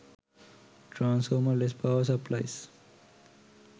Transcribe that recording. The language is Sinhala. transformer less power supplies